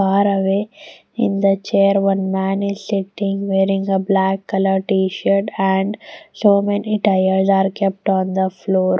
far away in the chair one man is sitting wearing a black colour t shirt and so many tires are kept on the floor.